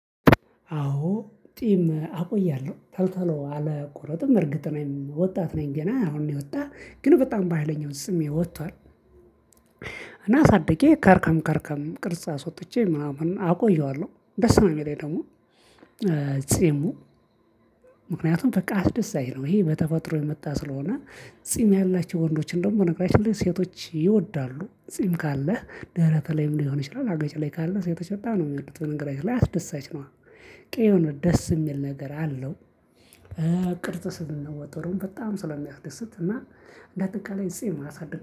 አዎ ጢም አቆያለሁ ቶሎ ቶሎ አልቆረጥም እርግጥ እኔም ወጣት ነኝ ገና አሁን ነው የወጣ ግን በጣም በሃይለኛ ጺሜ ወጥቷል። እና አሳድጌ ከርከም ከርከም ቅርጽ አስወጥቼ ምናምን አቆየዋለሁ ደስ ነው የሚለኝ ደግሞ ጺሙ ምክንያቱም በቃ አስደሳች ነው ይሄ በተፈጥሮ የመጣ ስለሆነ ጺም ያላቸው ወንዶች እንደውም በነገራችን ላይ ሴቶች ይወዳሉ ጺም ካለህ ደረትህ ላይም ሊሆን ይችላል አገጭህ ላይ ካለ ሴቶች በጣም ነው የሚወዱት በነገራችን ላይ አስደሳች ነዋ በቃ የሆነ ደስ የሚል ነገር አለው ቅርጽ ስንል ወጥሩን በጣም ስለሚያስደስት እና እንደ አጠቃላይ ጺም ማሳደግ